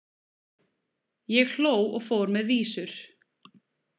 Ég hló og fór með vísur.